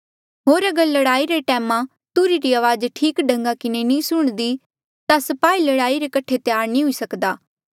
होर अगर लड़ाई रे टैम तुरही री अवाज ठीक ढंगा किन्हें नी सुणदी ता स्पाही लड़ाई रे कठे त्यार नी हुई सकदा